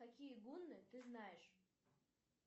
какие гунны ты знаешь